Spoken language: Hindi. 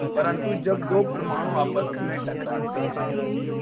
परन्तु जब दो परमाणु आपस में टकराते हैं